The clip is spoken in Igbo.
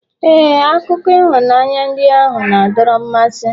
ee, akụkọ ịhụnanya ndị ahụ na-adọrọ mmasị